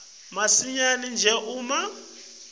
masinyane nje uma